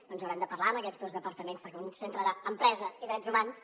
doncs haurem de parlar amb aquests dos departaments perquè un centre d’empresa i drets humans